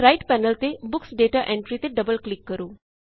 ਅਤੇ right panel ਤੇ books data entry ਤੇ ਡਬਲ ਕਲਿਕ ਕਰੋ